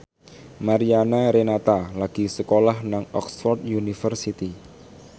Mariana Renata lagi sekolah nang Oxford university